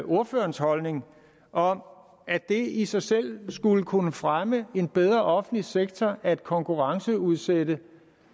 ordførerens holdning om at det i sig selv skulle kunne fremme en bedre offentlig sektor at konkurrenceudsætte